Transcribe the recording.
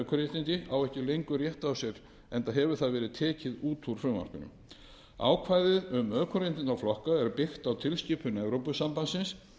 ökuréttindi á ekki lengur rétt á sér enda hefur það verið tekið út úr frumvarpinu ákvæðið um ökuréttindaflokka er byggt á tilskipun evrópusambandsins